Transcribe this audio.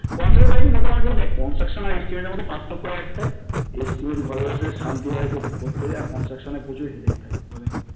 কথার দেখ Construction আর estimate এর মধ্যে পার্থক্য একটাই যে ঘরে বসে শান্তি মনে করতে হত আর construction এ প্রচুর headache থাকে,